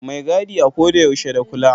Mai gadi a ko da yaushe da kula.